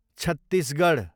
Chhattisgarh